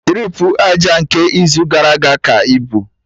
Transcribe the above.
Tripu aja nke izu gara aga ka ibu